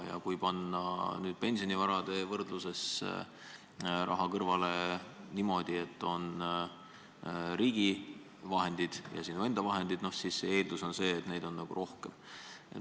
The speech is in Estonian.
Ja kui panna pensionivara kogudes raha kõrvale niimoodi, et on riigivahendid ja sinu enda vahendid, siis eeldatavasti on seda vara rohkem.